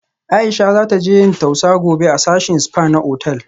Aisha za taje yin tausa gobe a sashin spa na otal